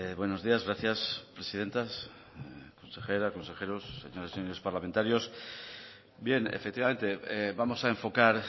buenos días gracias presidenta consejeras consejeros señores parlamentarios bien efectivamente vamos a enfocar